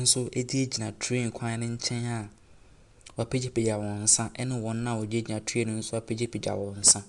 nso gyinagyina train kwan ne nkyɛn a wɔapagyapagya wɔ nsa ne wɔn wɔtenatena train ne mu nso apagyapagya wɔn nsa.